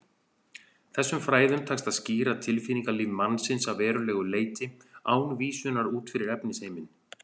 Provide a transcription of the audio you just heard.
Þessum fræðum tekst að skýra tilfinningalíf mannsins að verulegu leyti án vísunar út fyrir efnisheiminn.